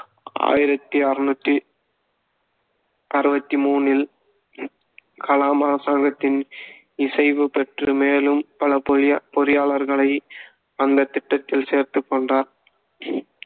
ஆயிரத்தி அறுநூத்தி அறுவத்தி முணில் கலாம் அரசாங்கத்தின் இசைவு பெற்று மேலும் பல பொறியா~ பொறியாளர்களை அந்தத் திட்டத்தில் சேர்த்துக் கொண்டார்